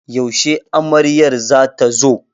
Yashe amaryar za ta zo?